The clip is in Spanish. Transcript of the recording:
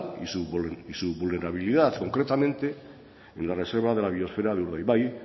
y su vulnerabilidad concretamente en la reserva de la biosfera de urdaibai